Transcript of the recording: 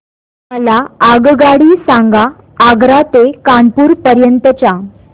मला आगगाडी सांगा आग्रा ते कानपुर पर्यंत च्या